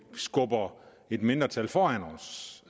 skubber et mindretal foran os